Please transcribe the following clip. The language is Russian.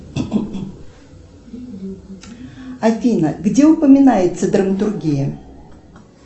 афина где упоминается драматургия